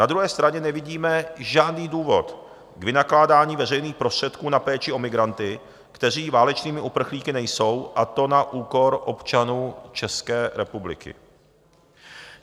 Na druhé straně nevidíme žádný důvod k vynakládání veřejných prostředků na péči o migranty, kteří válečnými uprchlíky nejsou, a to na úkor občanů České republiky.